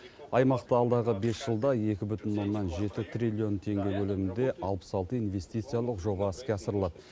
аймақта алдағы бес жылда екі бүтін оннан жеті триллион теңге көлемінде алпыс алты инвестициялық жоба іске асырылады